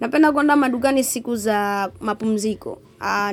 Napenda kuenda madukani siku za mapumziko.